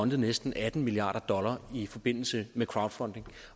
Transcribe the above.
næsten atten milliard dollar i forbindelse med crowdfunding